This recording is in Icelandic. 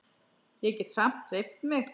Ég get samt hreyft mig.